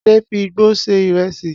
Ade fi igbó se ìrẹsì